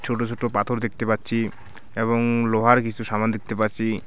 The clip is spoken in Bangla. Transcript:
ছোট ছোট পাথর দেখতে পাচ্ছি এবং লোহার কিছু সামান দেখতে পাচ্ছি .